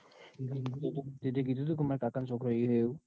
તે કીધું તું એન કે મારા કાકા નો છોકર ઈન એવું?